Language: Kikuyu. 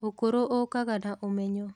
ũkũrũ ũkaga na ũmenyo.